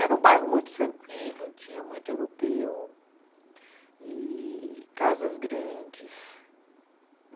Era um bairro muito tranquilo, tinha muito europeu e casas grandes.